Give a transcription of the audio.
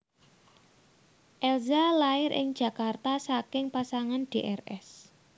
Elza lair ing Jakarta saking pasangan Drs